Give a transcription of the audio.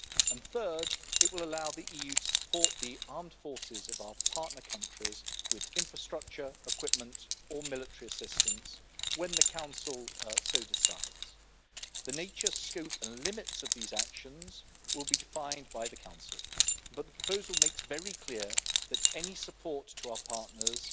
And third, it will allow the EU to support the armed forces of our partner countries with infrastructure, equipment or military assistance when the Council so decides. The nature, scope and limits of these actions will be defined by the Council, but the proposal makes very clear that any support to our partners